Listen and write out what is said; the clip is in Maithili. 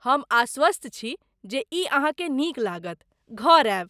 हम आश्वस्त छी जे ई अहाँकेँ नीक लागत, घर आयब!